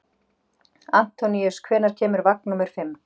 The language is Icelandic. Antóníus, hvenær kemur vagn númer fimm?